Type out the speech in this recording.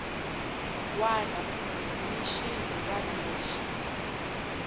wana ni xin wana lexi